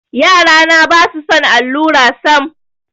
Yarana ba su son allura sam.